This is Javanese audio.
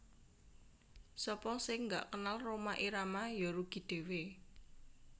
Sapa sing gak kenal Rhoma Irama yo rugi dhewe